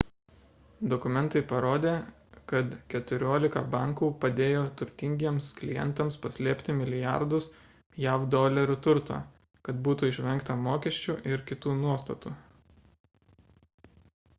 dokumentai parodė kad keturiolika bankų padėjo turtingiems klientams paslėpti milijardus jav dolerių turto kad būtų išvengta mokesčių ir kitų nuostatų